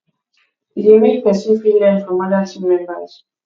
e de make persin fit learn from other team members